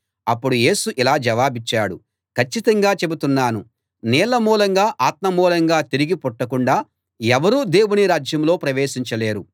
అప్పుడు యేసు ఇలా జవాబిచ్చాడు కచ్చితంగా చెబుతున్నాను నీళ్ళ మూలంగా ఆత్మ మూలంగా తిరిగి పుట్టకుండా ఎవరూ దేవుని రాజ్యంలో ప్రవేశించలేరు